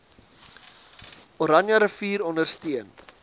oranje rivier ondersteun